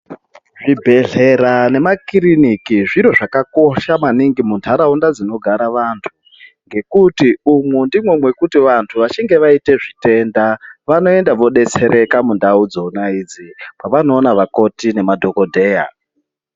Zvibhehlera nemakiriniki zviro zvakakosha maningi muntaraunda dzinogara vantu ngekuti umundimwo mwekuti vantu vaite zvitenda vanoenda vodetsereka mundau dzona idzi kwavanoona vakoti nemadhokodheya.